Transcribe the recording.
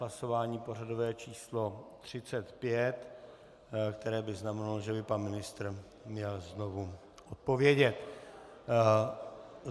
Hlasování pořadové číslo 35, které by znamenalo, že by pan ministr měl znovu odpovědět.